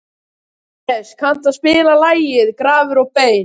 Hannes, kanntu að spila lagið „Grafir og bein“?